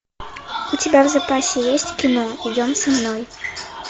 у тебя в запасе есть кино идем со мной